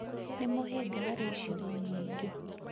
nĩ mũhĩnga harĩ icigo nyingĩ.